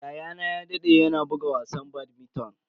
Yayana ya dade yana buga wasan badminton.